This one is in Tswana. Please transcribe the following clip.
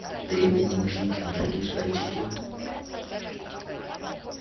teng wimpy kentucky fried chicken